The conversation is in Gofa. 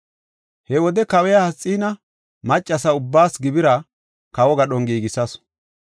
He wode Kawiya Asxiina maccasa ubbaas gibira kawo gadhon giigisasu.